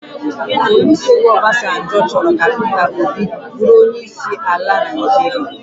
Olusegun Obasanjo chọrọ ka Pita Obi bụrụ onyeisi al Naịjirịa